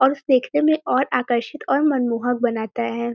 और उसे देखने में और आकर्षित और मनमोहक बनाता है।